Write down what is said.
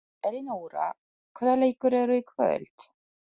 Elinóra, hvaða leikir eru í kvöld?